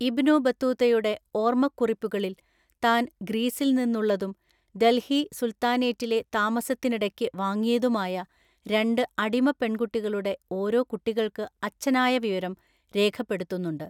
ഇബ്നു ബത്തുതയുടെ ഓർമ്മക്കുറിപ്പുകളിൽ താന്‍ ഗ്രീസില്‍ നിന്നുള്ളതും ദല്‍ഹി സുല്‍ത്താനേറ്റിലെ താമസത്തിനിടയ്ക്ക് വാങ്ങിയതുമായ രണ്ട് അടിമപെണ്‍കുട്ടികളുടെ ഓരോ കുട്ടികള്‍ക്ക് അച്ഛനായ വിവരം രേഖപ്പെടുത്തുന്നുണ്ട്.